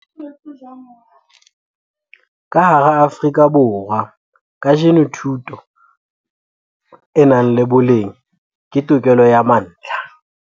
Ka hara Afrika Borwa kajeno, thuto e nang le boleng ke tokelo ya mantlha.